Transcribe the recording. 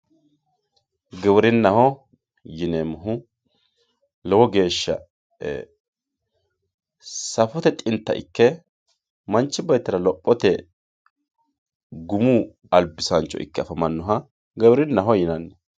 Giwirinaho yineemmohu lowo geeshsha safote xinta ikke manchi beettira lophote gumu albisancho ikke afamanoha giwirinaho yinanni.